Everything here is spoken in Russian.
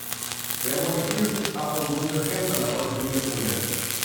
прямой эфир апл вулверхэмптон против ливерпуля